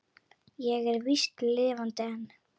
Ég er víst lifandi enn!